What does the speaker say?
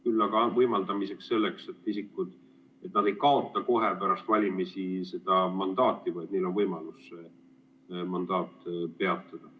Küll aga võiks võimaldada seda, et nad ei kaota mandaati kohe pärast valimisi, vaid neil on võimalus mandaat peatada.